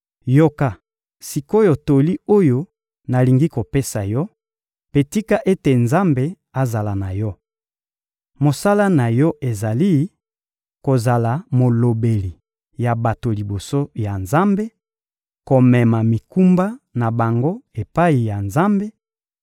Yoka sik’oyo toli oyo nalingi kopesa yo, mpe tika ete Nzambe azala na yo. Mosala na yo ezali: kozala molobeli ya bato liboso ya Nzambe, komema mikumba na bango epai ya Nzambe